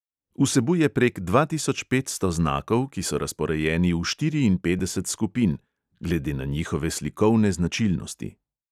Vsebuje prek dva tisoč petsto znakov, ki so razporejeni v štiriinpetdeset skupin (glede na njihove slikovne značilnosti).